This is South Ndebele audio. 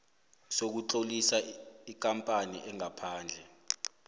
sokutlolisa ikampani engaphandle